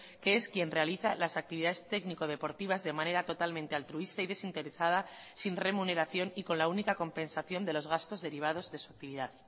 que es quien realiza las actividades técnico deportivas de manera totalmente altruista y desinteresada sin remuneración y con la única compensación de los gastos derivados de su actividad